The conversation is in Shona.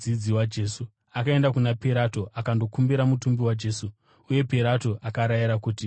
Akaenda kuna Pirato akandokumbira mutumbi waJesu, uye Pirato akarayira kuti aupiwe.